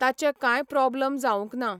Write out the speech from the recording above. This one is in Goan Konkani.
ताचे कांय प्रॉबलम जावंक ना.